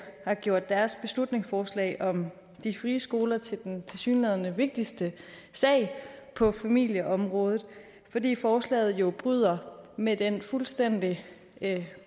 har gjort deres beslutningsforslag om de frie skoler til den tilsyneladende vigtigste sag på familieområdet fordi forslaget jo bryder med den fuldstændig